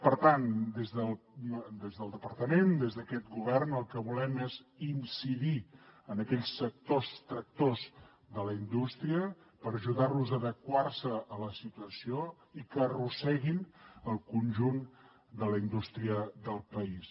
per tant des del departament des d’aquest govern el que volem és incidir en aquells sectors tractors de la indústria per ajudar los a adequar se a la situació i que arrosseguin el conjunt de la indústria del país